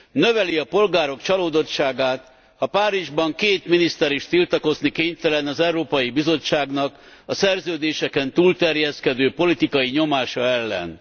Növeli a polgárok csalódottságát, ha Párizsban két miniszter is tiltakozni kénytelen az Európai Bizottságnak a Szerződéseken túlterjeszkedő politikai nyomása ellen.